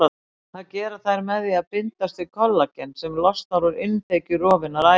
Það gera þær með því að bindast við kollagen sem losnar úr innþekju rofinnar æðar.